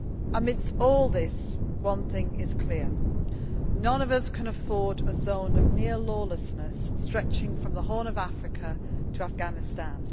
Amidst all this, one thing is clear none of us can afford a zone of near lawlessness stretching from the Horn of Africa to Afghanistan.